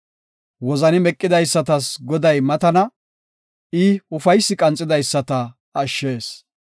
Wozani meqidaysatas Goday matana; I ufaysi qanxidaysata ashshees.